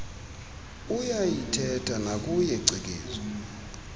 uyayiithetha nakuye cikizwa